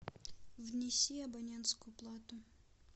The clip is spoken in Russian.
внеси абонентскую плату